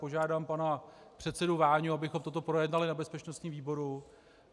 Požádám pana předsedu Váňu, abychom toto projednali na bezpečnostním výboru.